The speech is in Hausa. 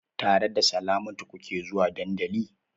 Tare da Salamatu kuke zuwa dandali?